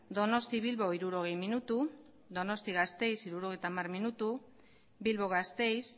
donostia bilbo hirurogei minutu donostia gasteiz setenta minutu bilbo gasteiz